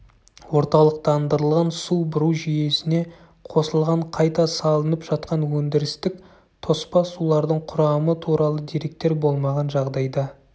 орталықтандырылған су бұру жүйесіне қосылған қайта салынып жатқан өндірістік тоспа сулардың құрамы туралы деректер болмаған жағдайда